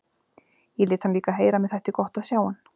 Ég lét hann líka heyra að mér þætti gott að sjá hann.